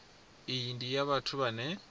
iyi ndi ya vhathu vhane